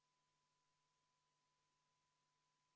Kohalolijaks pani ennast kirja 58 rahvasaadikut, puudub 43.